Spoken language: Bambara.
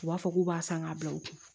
U b'a fɔ k'u b'a san k'a bila u kun